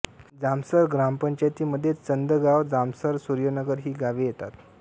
जामसर ग्रामपंचायतीमध्ये चंदगाव जामसर सुर्यनगर ही गावे येतात